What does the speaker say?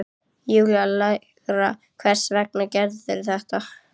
Júlía lægra: Hvers vegna gerðirðu þetta?